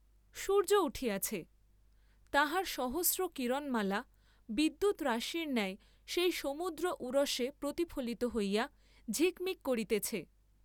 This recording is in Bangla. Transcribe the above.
সূর্য্য উঠিয়াছে, তাহার সহস্র কিরণমালা বিদ্যুৎ রাশির ন্যায় সেই সমুদ্র উরসে প্রতিফলিত হইয়া ঝিকমিক করিতেছে।